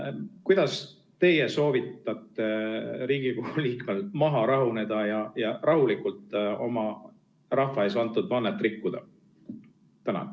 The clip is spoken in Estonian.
Kuidas teie soovitate Riigikogu liikmetel maha rahuneda ja rahulikult oma rahva ees antud vannet rikkuda?